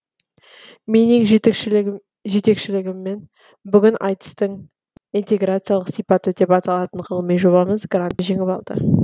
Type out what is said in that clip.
меннен жетекшілігіммен бүгін айтыстың интеграциялық сипаты деп аталатын ғылыми жобамыз грантты жеңіп алды